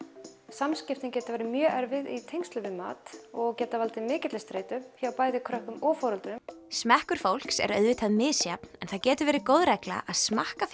samskiptin geta verið mjög erfið í tengslum við mat og geta valdið mikilli streitu hjá bæði börnum og foreldrum smekkur fólks er auðvitað misjafn en það getur verið góð regla að smakka